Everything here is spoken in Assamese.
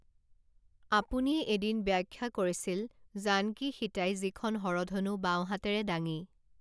আপুনিয়েই এদিন ব্যাখ্যা কৰিছিল জানকী সীতাই যিখন হৰধনু বাওঁ হাতেৰে দাঙি